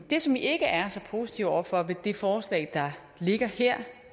det som vi ikke er så positive over for ved det forslag der ligger her